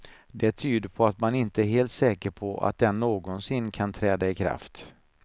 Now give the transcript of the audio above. Det tyder på att man inte är helt säker på att den någonsin kan träda i kraft.